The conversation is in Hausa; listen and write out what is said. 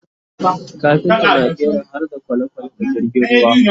kafinta na ƙera harda kwalekwale da jirgin ruwa